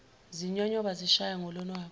zinyonyoba zishaya ngolonwabu